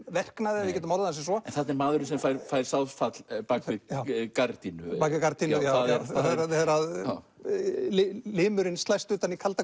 verknaði ef við getum orðað það sem svo en þarna er maðurinn sem fær fær sáðfall bak við gardínu gardínu þegar limurinn slæst utan í kalda